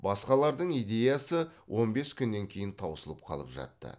басқалардың идеясы он бес күннен кейін таусылып қалып жатты